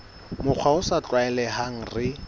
mokgwa o sa tlwaelehang re